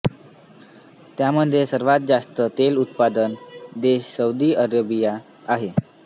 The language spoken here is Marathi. त्यामध्ये सर्वात जास्त तेल उत्पादन देश सौदी अरेबिया आहे